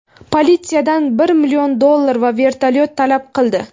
politsiyadan bir million dollar va vertolyot talab qildi.